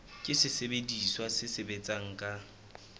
ke sesebediswa se sebetsang ka